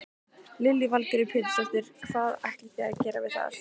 Lillý Valgerður Pétursdóttir: Hvað ætlið þið að gera við það?